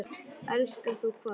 Elskar þú hvað?